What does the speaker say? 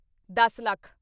ਦੱਸ ਲੱਖ